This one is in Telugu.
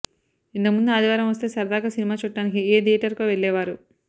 ఇంతకుముందు ఆదివారం వస్తే సరదాగా సినిమా చూడ్డానికి ఏ థియేటర్కో వెళ్లేవారు